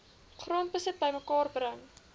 grondbesit bymekaar bring